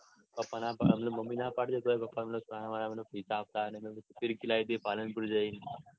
Mummy ના પડે તોપણ પપા છાના માના પૈસા આપતા ને ફીરકી લાવી દઈએ પાલનપુર જઈને.